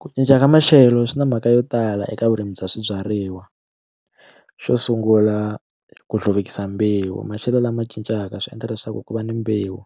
Ku cinca ka maxelo swi na mhaka yo tala eka vurimi bya swibyariwa xo sungula ku hluvukisa mbewu maxelo lama cincaka swi endla leswaku ku va ni mbewu